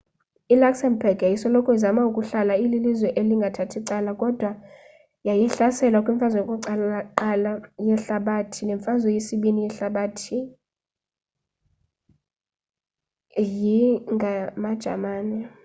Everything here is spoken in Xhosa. i luxembourg yayisoloko izama ukuhlala ililizwe elingathathi cala kodwa yaye yahlaselwa kwimfazwe yokuqala yehalabathi nemfazwe yesibini yehlabathi yi ngamajamani